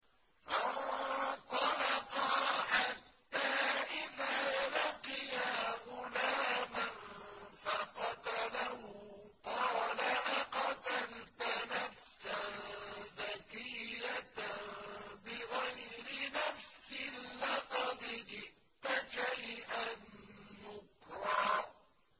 فَانطَلَقَا حَتَّىٰ إِذَا لَقِيَا غُلَامًا فَقَتَلَهُ قَالَ أَقَتَلْتَ نَفْسًا زَكِيَّةً بِغَيْرِ نَفْسٍ لَّقَدْ جِئْتَ شَيْئًا نُّكْرًا